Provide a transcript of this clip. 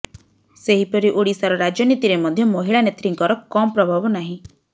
ସେହିପରି ଓଡ଼ିଶାର ରାଜନୀତିରେ ମଧ୍ୟ ମହିଳା ନେତ୍ରୀଙ୍କର କମ୍ ପ୍ରଭାବ ନାହିଁ